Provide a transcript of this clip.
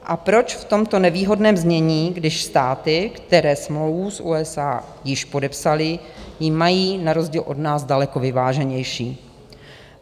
A proč v tomto nevýhodném znění, když státy, které smlouvu s USA již podepsaly, ji mají na rozdíl od nás daleko vyváženější?